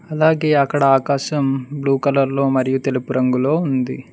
అలాగే అక్కడ ఆకాశం బ్లూ కలర్ లో మరియు తెలుపు రంగులో ఉంది.